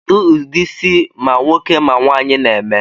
Kedu udi isi ma nwoke ma nwaanyi n'eme?